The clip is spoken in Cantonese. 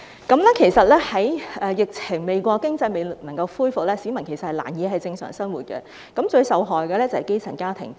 當疫情未過，經濟還未復蘇的時候，市民仍難以正常生活，而最受害的就是基層家庭。